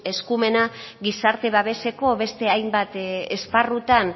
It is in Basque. eskumena gizarte babeseko beste hainbat esparrutan